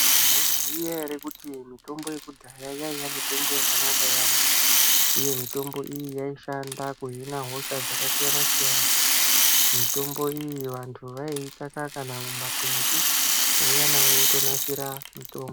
Mwaiziya ere kuti mitombo yekudhaya yaiya mitombo yakanaka yaambo uye mitombo iyi yaishanda kuhina hosha dzakasiyana-siyana. Mitombo iyi vantu vaiitsvaka kana mumakwenzi vouya nayo votonasira mutombo.